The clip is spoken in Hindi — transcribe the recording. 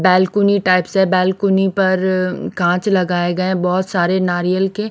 बालकनी टाइप सा है बालकनी पर कांच लगाये गये है बोहोत सारे नारियल के --